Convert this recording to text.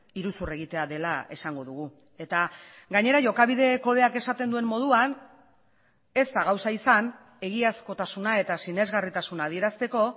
iruzur egitea dela esango dugu eta gainera jokabide kodeak esaten duen moduan ez da gauza izan egiazkotasuna eta sinesgarritasuna adierazteko